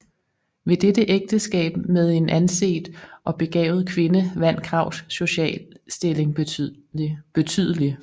Ved dette ægteskab med en anset og begavet kvinde vandt Krags sociale stilling betydelig